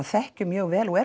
þekkjum mjög vel og